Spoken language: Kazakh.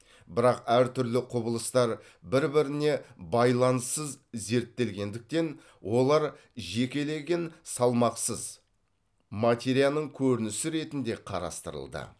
бірақ әр түрлі құбылыстар бір біріне байланыссыз зерттелгендіктен олар жекелеген салмақсыз материяның көрінісі ретінде қарастырылды